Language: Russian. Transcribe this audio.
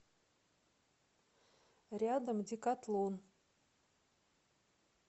рядом декатлон